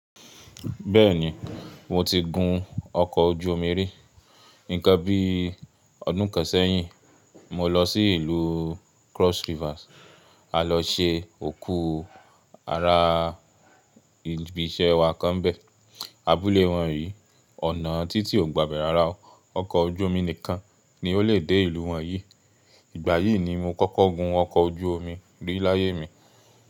Bẹ́ẹ̀ni, mo ti gun ọkọ̀ ojú omi rí. Nǹkan bí ọdún kan sẹ́yìn, mo lọ sí ìlú Cross River a lọ se òkú ara ibi iṣẹ́ wa kan nbẹ̀. Abúlé wọn yìí, ọ̀nà títì ò gbà bẹ̀rẹ̀ ara ọkọ̀ ojú omi nìkan ni o lè dé ìlú wọn yìí. Ìgbà yìí ni mo kọ́kọ́ gun ọkọ̀ ojú omi rí láyé mi.